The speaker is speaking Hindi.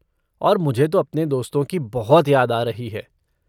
और मुझे तो अपने दोस्तों की बहुत याद आ रही है।